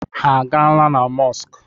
Ha a gaala na mọskụ?